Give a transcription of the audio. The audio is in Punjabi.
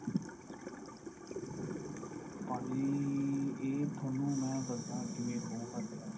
ਭਾਜੀ ਇਹ ਤੁਹਾਨੂੰ ਮੈਂ ਦੱਸਦਾ ਕਿਵੇਂ ਹੋਊਗਾ ਤਿਆਰ